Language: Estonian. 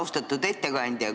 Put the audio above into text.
Austatud ettekandja!